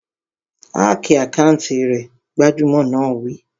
Háki àkáùntì rẹ̀! Gbájúẹ̀ náà wí